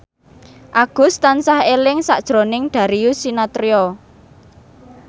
Agus tansah eling sakjroning Darius Sinathrya